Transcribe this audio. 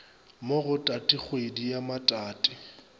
mo go tatikgwedi ya matati